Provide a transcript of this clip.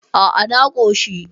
A a, na koshi